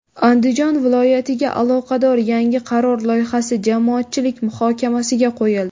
Andijon viloyatiga aloqador yangi qaror loyihasi jamoatchilik muhokamasiga qo‘yildi.